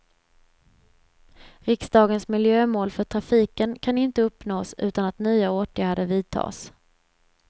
Riksdagens miljömål för trafiken kan inte uppnås utan att nya åtgärder vidtas.